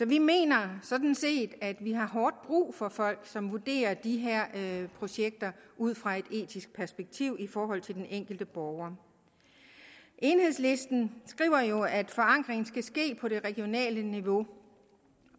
vi mener sådan set at vi har hårdt brug for folk som vurderer de her projekter ud fra et etisk perspektiv i forhold til den enkelte borger enhedslisten skriver jo at forankringen skal ske på det regionale niveau